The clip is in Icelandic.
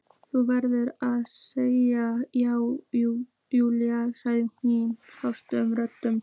Þú verður að segja já, Júlía sagði hún hásri röddu.